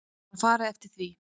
Það var farið eftir því.